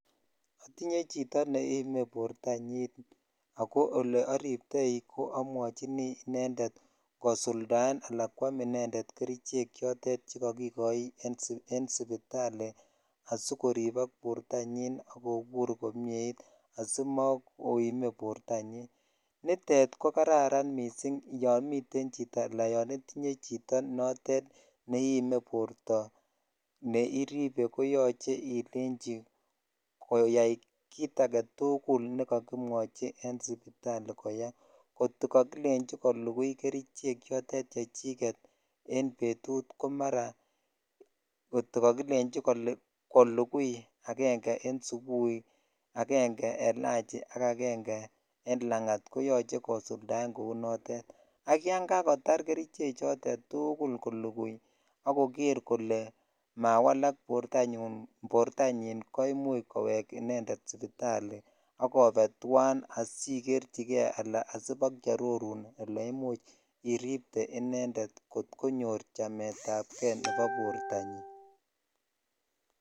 Atinye chito neiime bortanyin ago oleariptoi ko amwachini inendet kosuldaen ak kwam inendet kerichek che kakikochi en sipitali asikoribok bortonyin ak kobur komyeit asimakoime bortanyin. Nitet ko kararan mising yomiten chito anan yonitinye chito notet neiime borto neiribe koyoche ilenji koyai kit age tugul nekakimwochi en sipitali koyai. Ngotko kakilenji kolugui kerichek chotet chechiget en betut ko marakakilenji kolugui agenge en supui, agenge en lanchi ak agenge en langat koyoche kosuldaen kou notet. Ak yon kakotar kerichek chotet tugul, kolugui ak koger kole mawalak bortonyin ko imuch kowek inendet sipitali ak obe tuan asigerchige anan asibokiarorun ole imuch iripte inendet kot konyor chametab ke nebo bortanyin.